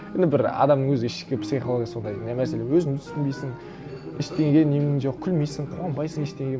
енді бір адамның өзі ішкі психологиясы сондай не мәселе өзіңді түсінбейсің ештеңеге нең жоқ күлмейсің қуанбайсың ештеңеге